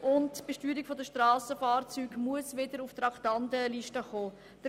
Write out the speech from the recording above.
Die Besteuerung der Strassenfahrzeuge muss wieder auf die Traktandenliste gesetzt werden.